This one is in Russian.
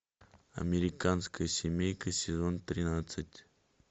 американская семейка сезон тринадцать